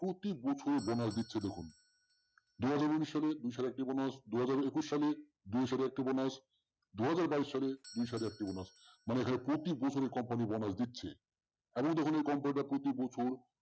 প্রতিবছর bonus দিচ্ছে দেখুন দু হাজার উনিশ সালের দুইশ একটি bonus দু হাজার একুশ সালে দুইশত একটি bonus দু হাজার বাইশ সালে দুইশত একটি bonus মানে হলো প্রতিবছরের company bonus দিচ্ছে তাহলেই দেখুন এই company টা প্রতিবছর